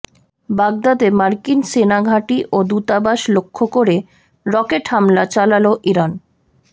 বাগদাদে মার্কিন সেনাঘাঁটি ও দূতাবাস লক্ষ্য করে রকেট হামলা চালাল ইরান